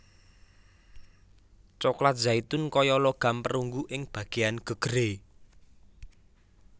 Coklat zaitun kaya logam perunggu ing bagéyan gegeré